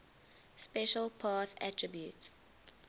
special path attribute